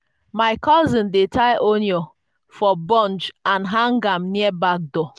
my cousin dey tie onion for bunch and hang am near back door.